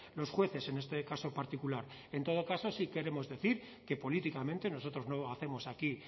los jueces en este caso particular en todo caso sí queremos decir que políticamente nosotros no hacemos aquí